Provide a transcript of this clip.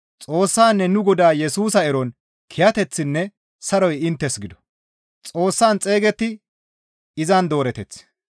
Xoossaanne nu Godaa Yesusa eron kiyateththinne saroy inttes gido.